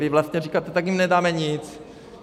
Vy vlastně říkáte: tak jim nedáme nic.